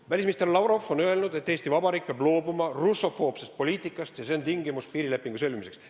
Välisminister Lavrov on öelnud, et Eesti Vabariik peab loobuma russofoobsest poliitikast, see on tingimus piirilepingu sõlmimiseks.